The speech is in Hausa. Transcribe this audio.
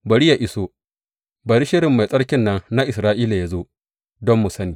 Bari yă iso, bari shirin Mai Tsarkin nan na Isra’ila yă zo, don mu sani.